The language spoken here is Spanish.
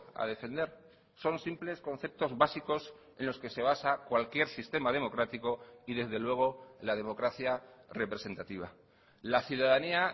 a defender son simples conceptos básicos en los que se basa cualquier sistema democrático y desde luego la democracia representativa la ciudadanía